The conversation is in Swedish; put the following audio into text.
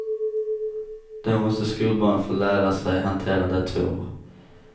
Då måste skolbarnen få lära sig hantera datorer.